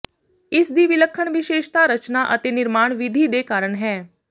ਇਸ ਦੀ ਵਿਲੱਖਣ ਵਿਸ਼ੇਸ਼ਤਾ ਰਚਨਾ ਅਤੇ ਨਿਰਮਾਣ ਵਿਧੀ ਦੇ ਕਾਰਨ ਹੈ